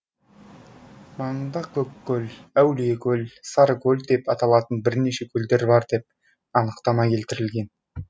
маңында көккөл әулиекөл сарыкөл деп аталатын бірінше көлдер бар деп анықтама келтірген